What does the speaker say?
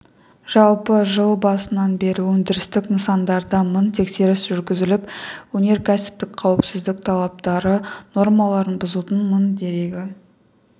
жалпы жыл басынан бері өндірістік нысандарда мың тексеріс жүргізіліп өнеркәсіптік қауіпсіздік талаптары нормаларын бұзудың мың дерегі